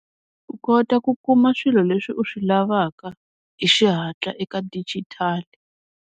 U kota ku kuma swilo leswi u swi lavaka hi xihatla eka dijitali.